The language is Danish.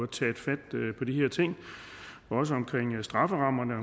taget fat på de her ting og også omkring strafferammerne og